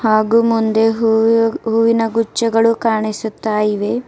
ಹಾಗೂ ಮುಂದೆ ಹೂವು ಹೂವಿನ ಗುಚ್ಚಗಳು ಕಾಣಿಸುತ್ತಾ ಇವೆ.